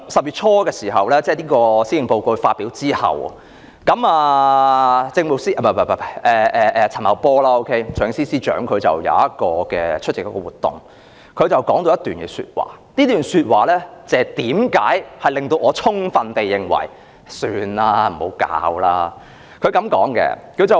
不過，行政長官在10月初發表施政報告後，財政司司長陳茂波出席一個活動時說了一番話，這番話令我充分地認為還是算了吧，不要發債了。